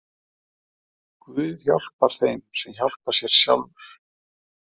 Guð hjálpar þeim sem hjálpa sér sjálfur.